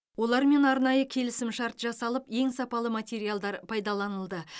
олармен арнайы келісімшарт жасалып ең сапалы материалдар пайдаланылды